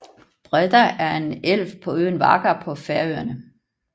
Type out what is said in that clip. Breiðá er en elv på øen Vágar på Færøerne